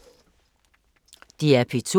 DR P2